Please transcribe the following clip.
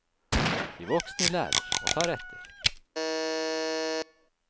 De voksne lærer, og tar etter.